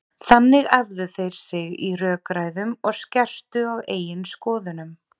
Þannig æfðu þær sig í rökræðum og skerptu á eigin skoðunum.